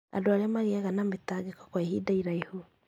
Andũ arĩa magĩaga na mĩtangĩko kwa ihinda iraihu